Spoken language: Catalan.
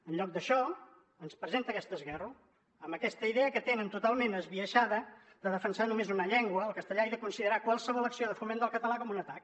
en lloc d’això ens presenta aquest esguerro amb aquesta idea que tenen totalment esbiaixada de defensar només una llengua el castellà i de considerar qualsevol acció de foment del català com un atac